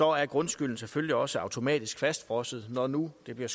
er grundskylden selvfølgelig også automatisk fastfrosset når nu det bliver